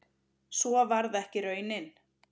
Svo varð ekki raunin